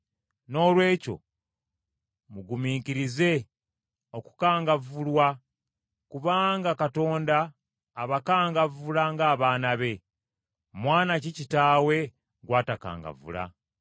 Noolwekyo mugumiikirize okukangavvulwa, kubanga Katonda abakangavvula ng’abaana be. Mwana ki kitaawe gw’atakangavvula?